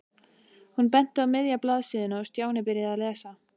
Hún benti á miðja blaðsíðuna og Stjáni byrjaði að lesa.